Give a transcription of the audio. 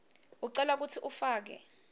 ucelwa kutsi ufake